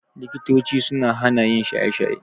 Likitochi suna hana yin shaye-shaye.